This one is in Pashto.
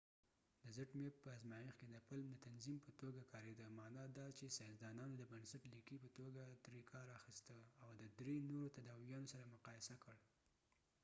د palm په ازمایښت کې zmapp د تنظیم په توګه کاریده معنی دا چې ساینسدانانو د بنسټ لیکې په توګه ترې کار اخیسته او د درې نورو تداویانو سره یې مقایسه کړ